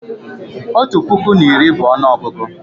Otu puku na iri bụ ọnụọgụgụ